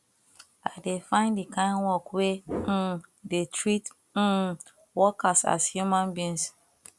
i dey find di kain work wey um dey treat um workers as human beings